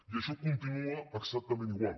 i això continua exactament igual